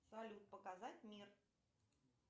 салют показать мир